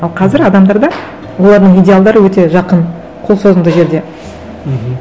ал қазір адамдарда олардың идеалдары өте жақын қолсозымды жерде мхм